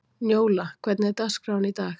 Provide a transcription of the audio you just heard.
Njóla, hvernig er dagskráin í dag?